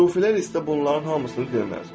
Sufilər isə bunların hamısını deməz.